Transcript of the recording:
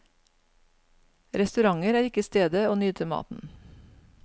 Restauranter er ikke stedet å nyte maten.